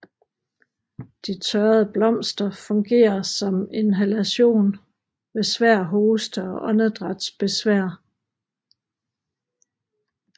De tørrede blomster fungerer som inhalation ved svær hoste og åndedrætsbesvær